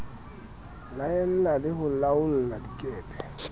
laela le ho laolla dikepe